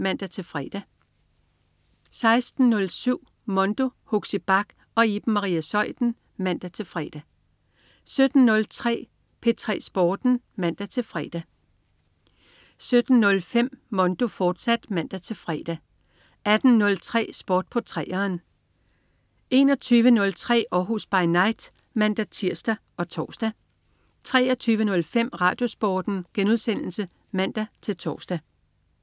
16.07 Mondo. Huxi Bach og Iben Maria Zeuthen (man-fre) 17.03 P3 Sporten (man-fre) 17.05 Mondo, fortsat (man-fre) 18.03 Sport på 3'eren 21.03 Århus By Night (man-tirs og tors) 23.05 RadioSporten* (man-tors)